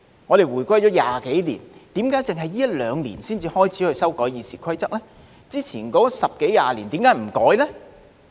我們回歸了20多年，為何只是這一兩年才開始修改《議事規則》，之前十多二十年為何不修改呢？